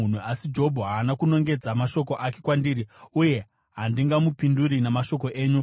Asi Jobho haana kunongedza mashoko ake kwandiri, uye handingamupinduri namashoko enyu.